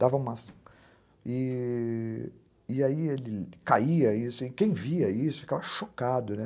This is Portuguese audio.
Dava uma... E aí ele caía, e quem via isso ficava chocado, né?